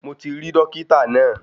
Mo ti rí dọ́kítà náà.